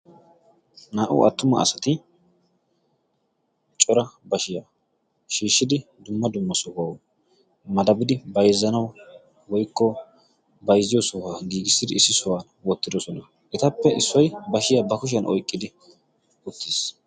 Naa"u attuma asati cora bashiyaa shiishshidi dumma dumma sohuwau madabidi baizzanau woykko bayzziyo sohuwaa giigissidi issi sohuwan woottidosona etappe issoy bashiyaa ba kushiyan oiqqidi uttiis.